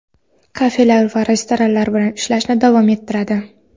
kafelar va restoranlar ham ishlashni davom ettiradi.